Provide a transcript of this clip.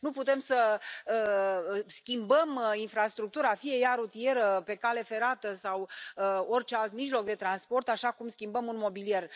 Nu putem să schimbăm infrastructura, fie ea rutieră, pe cale ferată sau orice alt mijloc de transport, așa cum schimbăm un mobilier.